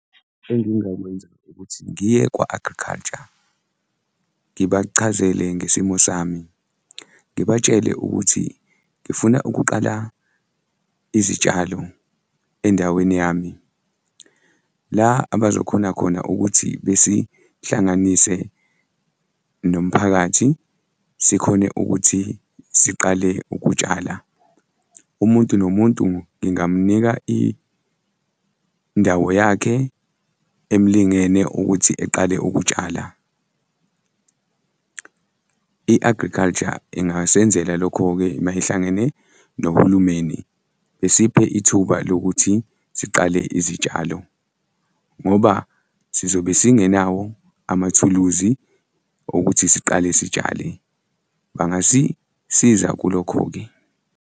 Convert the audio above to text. Engingakwenza ukuthi ngiye kwa-agriculture ngibachazele ngesimo sami, ngibatshele ukuthi ngifuna ukuqala izitshalo endaweni yami la abazokhona khona ukuthi besihlanganise nomphakathi sikhone ukuthi siqale ukutshala. Umuntu nomuntu ngingamnika indawo yakhe emlingene ukuthi eqale ukutshala. I-agriculture ingasenzela lokho-ke uma ihlangene nohulumeni, esiphe ithuba lokuthi siqale izitshalo ngoba sizobe singenawo amathuluzi okuthi siqale sitshale. Bangasisiza kulokho-ke.